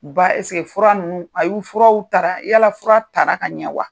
Ba fura ninnu a y'u furaw taara yala fura taara ka ɲɛ wa?